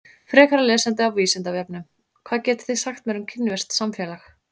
Frekara lesefni á Vísindavefnum: Hvað getið þið sagt mér um kínverskt samfélag?